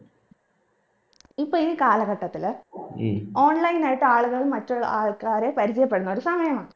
ഇപ്പൊ ഈ കാലഘട്ടത്തില് online ആയിട്ട് ആളുകള് മറ്റുള്ള ആൾക്കാരെ പരിചയപ്പെടുന്നൊരു സമയമാണ്